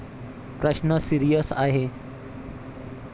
प्रश्न सीरियस आहे.